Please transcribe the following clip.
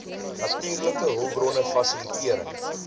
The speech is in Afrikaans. natuurlike hulpbronne fasilitering